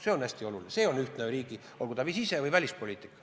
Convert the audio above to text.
See on hästi oluline, see on ühtne riigi sise- või välispoliitika.